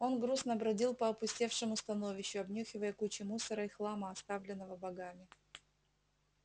он грустно бродил по опустевшему становищу обнюхивая кучи мусора и хлама оставленного богами